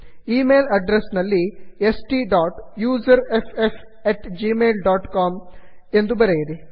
email address ನಲ್ಲಿ STUSERFFgmailcom S T dot user F F at Gmail dot com ಎಂದು ಬರೆಯಿರಿ